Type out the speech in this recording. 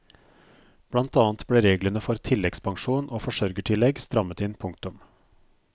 Blant annet ble reglene for tilleggspensjon og forsørgertillegg strammet inn. punktum